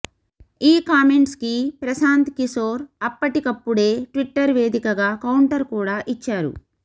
ఈ కామెంట్స్ కి ప్రశాంత్ కిశోర్ అప్పటికప్పుడే ట్విట్టర్ వేదికగా కౌంటర్ కూడా ఇచ్చారు